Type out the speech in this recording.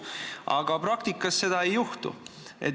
Aga praktikas seda ei juhtu.